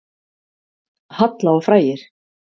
Halla og frægir